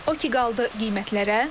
O ki qaldı qiymətlərə?